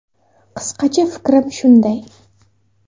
Qisqacha fikrim shunday.